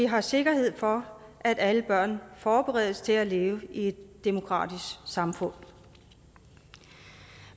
har sikkerhed for at alle børn forberedes til at leve i et demokratisk samfund